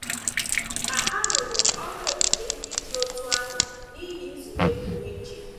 Ma a rụrụ ọrụ ebube ndị dị otú ahụ n’ihi nzube pụrụ iche.